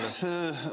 Aitäh!